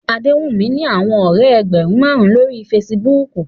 Adewumi ni awọn ọrẹ ẹgbẹrun marun lori Fèsìbúukù